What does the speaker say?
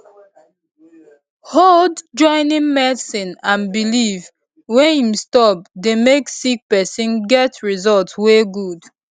hold joining medicine and belief wey em stop dey make sick pesin get result wey good